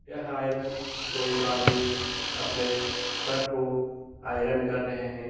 यह आयरन कोई एक आदमी अपने शर्ट को आयरन कर रहे हैं।